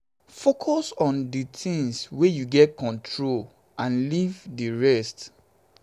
make you no leave dis bad experience make e too affect you.